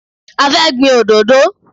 A fẹ́ gbin òdodo.